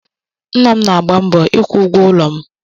Nna m na-agba mbọ ịkwụ ụgwọ ụlọ m.